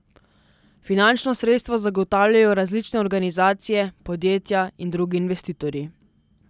Finančna sredstva zagotavljajo različne organizacije, podjetja in drugi investitorji.